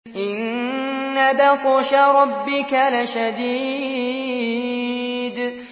إِنَّ بَطْشَ رَبِّكَ لَشَدِيدٌ